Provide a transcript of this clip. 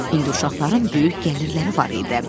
İndi uşaqların böyük gəlirləri var idi.